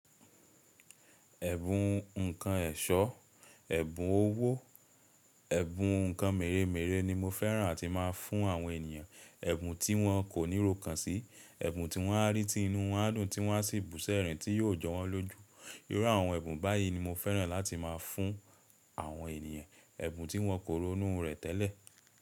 Ẹ̀bùn ǹkan ẹ̀ṣọ́, ẹ̀bùn owó, ẹ̀bùn ǹkan mèremère ni mo fẹ́ràn àti máa ń fún àwọn ènìyàn. Ẹ̀bùn tí wọ́n kò níro kan sí, ẹ̀bùn tí wọ́n á rí tí inú wọ́n á dùn tí wọ́n á sì bù ṣẹ̀rìn tí yóò jọ wọ́n lójú. Irú àwọn ẹ̀bùn báyìí ni mo fẹ́ràn láti máa fún àwọn ènìyàn. Ẹ̀bùn tí wọ́n kò ronú rẹ̀ tẹ́lẹ̀